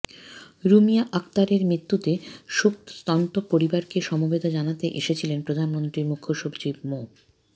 রুমিয়া আক্তারের মৃত্যুতে শোকসন্তপ্ত পরিবারকে সমবেদনা জানাতে এসেছিলেন প্রধানমন্ত্রীর মুখ্য সচিব মো